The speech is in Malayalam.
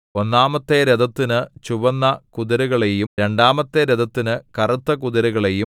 ഒന്നാമത്തെ രഥത്തിനു ചുവന്ന കുതിരകളെയും രണ്ടാമത്തെ രഥത്തിനു കറുത്ത കുതിരകളെയും